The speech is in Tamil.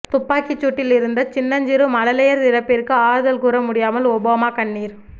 துப்பாக்கிசூட்டில் இறந்த சின்னஞ் சிறு மழலையர் இறப்பிற்கு ஆறுதல் கூற முடியாமல் ஒபாமா கண்ணீர்